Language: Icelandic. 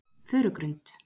Furugrund